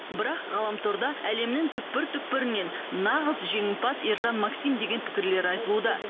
бірақ ғаламторда әлемнің түкпір түкпірінен нағыз жеңімпаз ержан максим деген пікірлер айтылуда